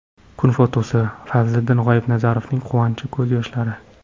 Kun fotosi: Fazliddin G‘oibnazarovning quvonch ko‘z yoshlari.